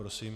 Prosím.